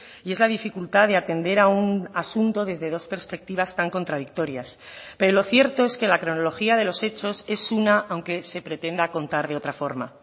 y es la dificultad de atender a un asunto desde dos perspectivas tan contradictorias pero lo cierto es que la cronología de los hechos es una aunque se pretenda contar de otra forma